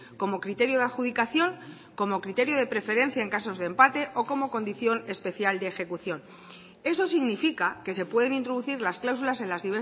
como criterio de adjudicación como criterio de preferencia en casos de empate o como condición especial de ejecución eso significa que se pueden introducir las cláusulas en las